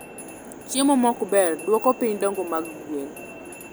chiemo mokber duoko piny dongo mag gwen